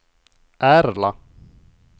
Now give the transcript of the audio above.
Ärla